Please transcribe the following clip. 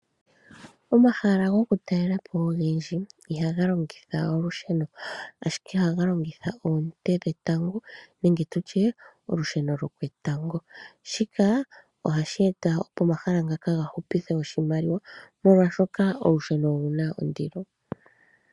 Omahala gokutalela po ogendji ihaga longitha olusheno ashike ohaga longitha oonte dhetango nenge tutye olusheno lwoketango. Shika ohashi eta opo omahala ngaka ga hupithe oshimaliwa oshoka olusheno olu na ondilo.